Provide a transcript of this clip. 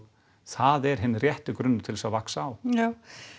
það er hinn rétti grunnur til að vaxa á já